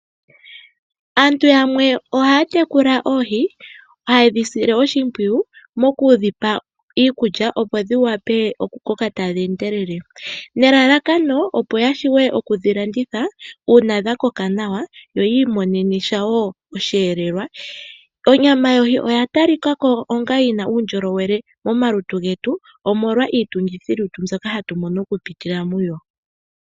Aantu yamwe oha ya tekula oohi, haye dhi sile oshimpwuyu moku dhi pa iikulya opo dhi wape oku koka tadhi endelele. Nelalakano opo ya shuwe okudhi landitha uuna dha koka nawa yo yiimonene shawo osheelelwa. Onyama yohi oya talikako onga yi na uundjolowele momalutu getu omolwa iitungithi mbyoka ha tu mono oku pitila muyo.